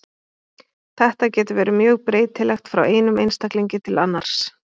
Þetta getur verið mjög breytilegt frá einum einstaklingi til annars.